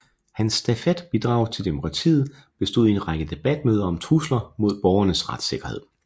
Hans stafetbidrag til demokratiet bestod i en række debatmøder om trusler mod borgernes retssikkerhed